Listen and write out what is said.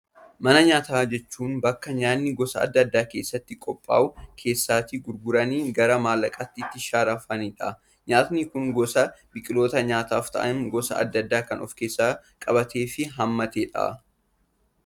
Mana nyaataa jechuun, bakka nyaanni gosa addaa addaa keessatti qophaa'uun, keessatti gurguramanii gara maallaqaatti itti sharafamanidha. Nyaatni Kun gosoota biqiloota nyaataaf ta'an gosa addaa addaa kan of keessatti qabatedha fi haammatedha.